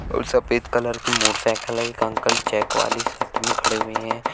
और सफेद कलर की मोटरसाइकिल है एक अंकल चेक वाले शर्ट में खड़े हैं।